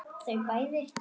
Þau bæði.